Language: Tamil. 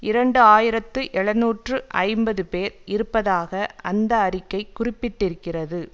இரண்டு ஆயிரத்தி எழுநூற்று ஐம்பது பேர் இருப்பதாக அந்த அறிக்கை குறிப்பிட்டிருக்கிறது